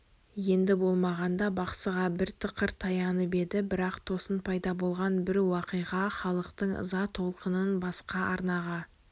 енді болмағанда бақсыға бір тықыр таянып еді бірақ тосын пайда болған бір уақиға халықтың ыза толқынын басқа арнаға